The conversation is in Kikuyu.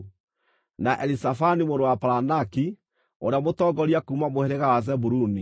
na Elizafani mũrũ wa Paranaki, ũrĩa mũtongoria kuuma mũhĩrĩga wa Zebuluni;